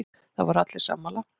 Það voru allir sammála.